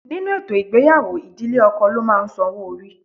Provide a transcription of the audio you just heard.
Nínú ètò ìgbéyàwó, ìdílé ọkọ ló máa ń sanwó orí.